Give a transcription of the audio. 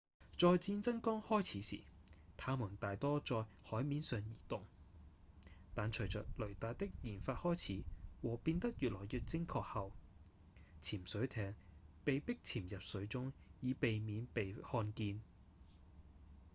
在戰爭剛開始時它們大多在海面上移動但隨著雷達的研發開始和變得越來越精確後潛水艇被迫潛入水中以避免被看見